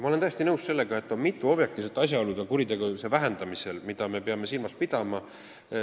Ma olen täiesti nõus, et on mitu objektiivset asjaolu kuritegevuse vähenemisel, mida me peame silmas pidama.